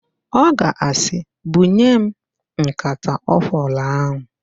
Ọ ga-asị, "bunye m nkata ọkwụrụ ahụ"!